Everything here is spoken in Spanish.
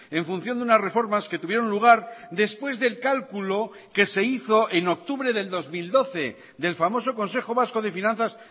en función de unas reformas que tuvieron lugar después del cálculo que se hizo en octubre del dos mil doce del famoso consejo vasco de finanzas